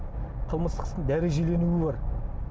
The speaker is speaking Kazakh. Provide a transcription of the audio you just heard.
қылмыстық істің дәрежеленуі бар